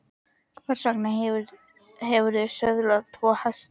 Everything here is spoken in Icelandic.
Hvers vegna hefurðu söðlað tvo hesta?